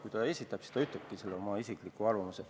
Kui ta esitab, siis ta ütlebki selle oma isikliku arvamusena.